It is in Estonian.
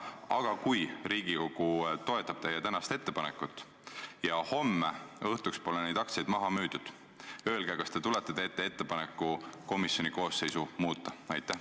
Aga kui Riigikogu toetab teie tänast ettepanekut ja homme õhtuks pole neid aktsiaid maha müüdud, kas te siis tulete ja teete ettepaneku komisjoni koosseisu muuta?